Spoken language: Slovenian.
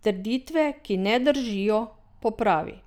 Trditve, ki ne držijo, popravi.